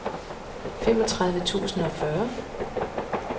femogtredive tusind og fyrre